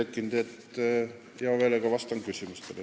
Hea meelega vastan küsimustele.